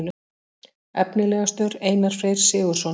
Efnilegastur: Einar Freyr Sigurðsson.